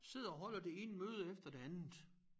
Sidder og holder det ene møde efter det andet